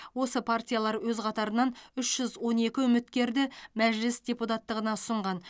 осы партиялар өз қатарынан үш жүз он екі үміткерді мәжіліс депутаттығына ұсынған